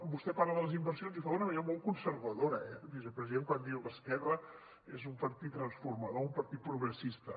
vostè parla de les inversions i ho fa d’una manera molt conservadora eh vicepresident quan diu esquerra és un partit transformador un partit progressista